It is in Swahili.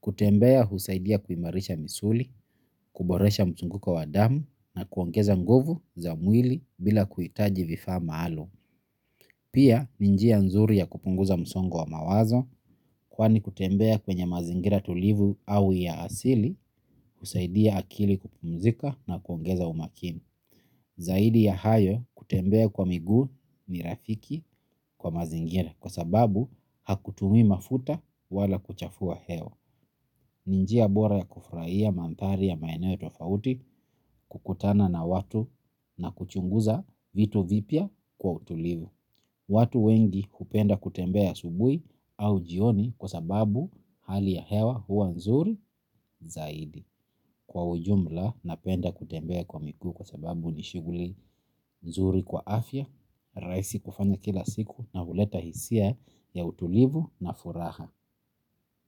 Kutembea, husaidia kuimarisha misuli, kuboresha mzunguko wa damu na kuongeza nguvu za mwili bila kuhitaji vifaa maalumu. Pia, ni njia nzuri ya kupunguza msungo wa mawazo, kwani kutembea kwenye mazingira tulivu au ya asili, husaidia akili kupumzika na kuongeza umakini. Zaidi ya hayo kutembea kwa miguu ni rafiki kwa mazingira kwa sababu hakutumi mafuta wala kuchafua hewa. Ni njia bora ya kufurahia mandhari ya maeneo ya tofauti kukutana na watu na kuchunguza vitu vipya kwa utulivu. Watu wengi hupenda kutembea asubuhi au jioni kwa sababu hali ya hewa huwa nzuri zaidi. Kwa ujumla napenda kutembea kwa miguu kwa sababu ni shughuli nzuri kwa afya rahisi kufanya kila siku na huleta hisia ya utulivu na furah.